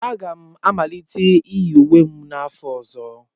Aga m amalite iyi uwe m n'afọ ọzọ.